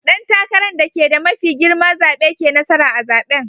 Dan takaran dake da mafi girma zabe ke nasara a'zaben.